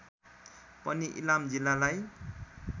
पनि इलाम जिल्लालाई